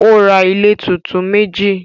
Ó ra ilé tuntun meji